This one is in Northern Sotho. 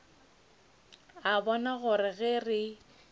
a bona gore ge re